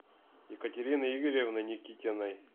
екатерины игоревны никитиной